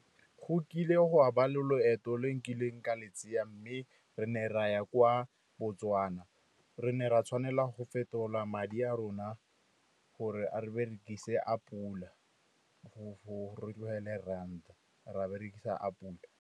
Go kile go a ba loeto le o nkileng ka le tsaya mme re ne ra ya kwa Botswana, re ne ra tshwanela go fetola madi a rona gore re berekise a pula go ranta, ra berekisa a pula.